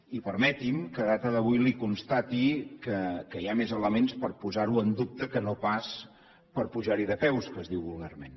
i permeti’m que a data d’avui li constati que hi ha més elements per posar ho en dubte que no pas per pujar hi de peus que es diu vulgarment